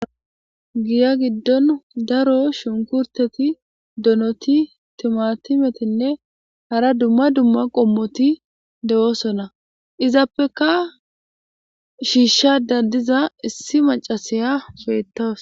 giya giddon daro shunkurteti donoti timatimetinne hara dumma dumma qommoti dewoosonna izappeka shiishsha dandiza issi macasiya feetaws